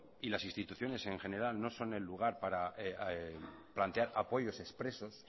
y las instituciones en general no son el lugar para plantear apoyos expresos